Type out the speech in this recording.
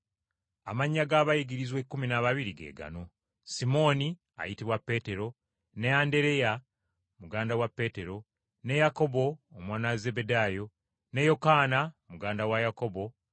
Amannya g’abayigirizwa ekkumi n’ababiri ge gano: Simooni, ayitibwa Peetero; ne Andereya, muganda wa Peetero; ne Yakobo, omwana wa Zebbedaayo; ne Yokaana, muganda wa Yakobo;